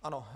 Ano.